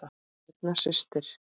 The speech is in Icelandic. Birna systir.